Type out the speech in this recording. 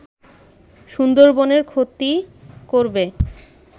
সুন্দরবনের ক্ষতি করবে